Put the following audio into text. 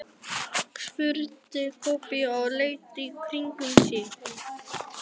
spurði Kobbi og leit í kringum sig.